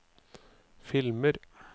filmer